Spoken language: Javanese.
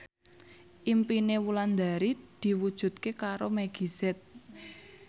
impine Wulandari diwujudke karo Meggie Z